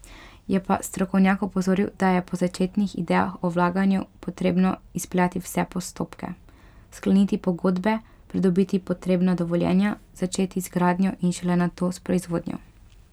Je pa strokovnjak opozoril, da je po začetnih idejah o vlaganju potrebno izpeljati vse postopke, skleniti pogodbe, pridobiti potrebna dovoljenja, začeti z gradnjo in šele nato s proizvodnjo.